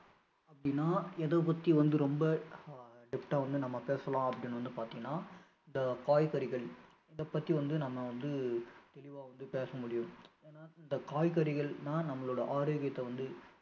அப்படின்னா எதைப்பத்தி வந்து ரொம்ப ஆஹ் depth ஆ வந்து நம்ம பேசலாம் அப்படின்னு பார்த்திங்கன்னா இந்த காய்கறிகள் இதைப்பத்தி வந்து நம்ம வந்து தெளிவா வந்து பேச முடியும் ஏன்னா இந்த காய்கறிகள் தான் நம்மளோட ஆரோக்கியத்தை வந்து